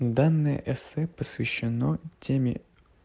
данное эссе посвящено теме